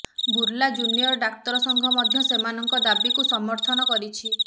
Burla junior ଡାକ୍ତର ସଂଘ ମଧ୍ୟ ସେମାନଙ୍କ ଦାବିକୁ ସମର୍ଥନ କରିଛି